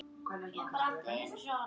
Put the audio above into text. En hvað með Ísland.